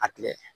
A tila